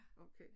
Okay